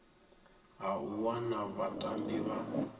ha u wana vhatambi vha